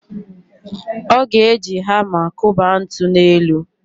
Ọ ga-eji hama kụba ntu n'elu.